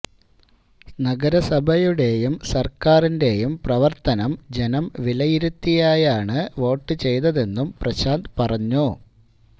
നഗരസഭയുടെയും സര്ക്കാരിന്റെയും പ്രവര്ത്തനം ജനം വിലയിരുത്തിയാണ് വോട്ട് ചെയ്തതെന്നും പ്രശാന്ത് പറഞ്ഞു